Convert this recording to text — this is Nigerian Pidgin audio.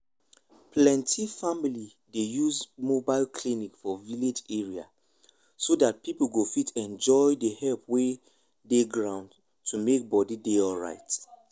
plenty family dey use mobile clinic for village area so that people go fit enjoy the help wey dey ground to make body dey alright.